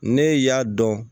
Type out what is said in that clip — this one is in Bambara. Ne y'a dɔn